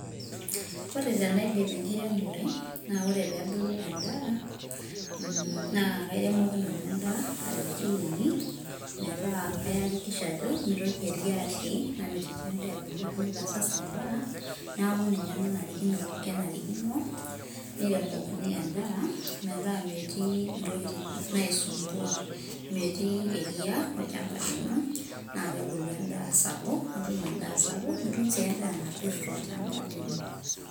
ore tenaidip enkiremore na ore pebulu enda mm na kairemoki nanu endaa katitin uni, meeta kayakikisha ajo mitoki eria atii namitiki endaa ebulu ashu naitasas endaa, niaku ninye nanarikino, kenarikino niremokini endaa meeta metii intokitin naisumbua metii eria olchamba lino, na kebulu endaa sapuk, nitum endaa sapuk nitum si endaa napir tolchamba lino.